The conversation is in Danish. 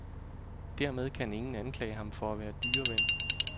Dermed kan ingen anklage ham for at være dyreven.